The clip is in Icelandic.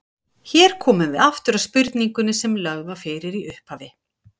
Hér komum við aftur að spurningunni sem lögð var fyrir í upphafi.